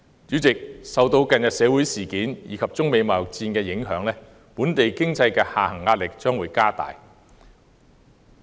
主席，受到近日社會事件及中美貿易戰的影響，本地經濟下行壓力將會加大。